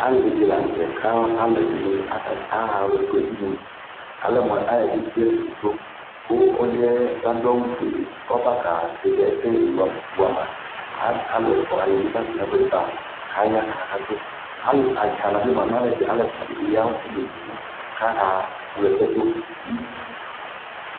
Alɩdɩ la n'tɛ ka alʋɛdɩnɩ aka kama dʋ aɣa ɔlɔdɩfʋɛ nʋ udunu Alɛ mʋ aɣake bie ɛsɛdɩ sʋ Kʋ ɔlʋɩɛ k'adʋ awʋfue k'abaaka zɛvɩ ɛsɛli dʋ la wama , as alʋɛfʋa wanɩ bʋa k'atʋ n'ɛfʋɛdɩ ba k'aya kakatʋ Alʋ atsana nɩ bʋa, alʋɛfʋa dɩ bɩ ya ɔsɩ n'uluvi kaka wlɛsɛdʋ